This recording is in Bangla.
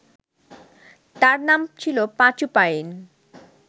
তার নাম ছিল পাঁচু পাইন